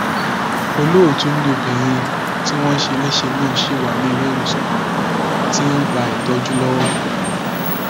olótù ni obìnrin tí wọn ṣe léṣe náà ṣì wà nílẹìwòsàn kan tó ti ń gba ìtọjú lọwọ